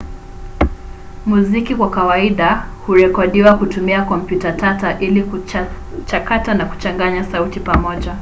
muziki kwa kawaida hurekodiwa kutumia kompyuta tata ili kuchakata na kuchanganya sauti pamoja